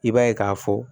I b'a ye k'a fɔ